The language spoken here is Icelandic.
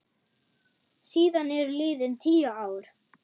Síðan eru liðin tíu ár.